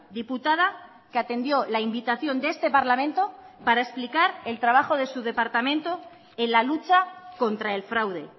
diputada que atendió la invitación de este parlamento para explicar el trabajo de su departamento en la lucha contra el fraude